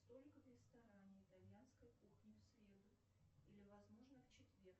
столик в ресторане итальянской кухни в среду или возможно в четверг